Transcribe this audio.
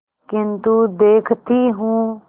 किन्तु देखती हूँ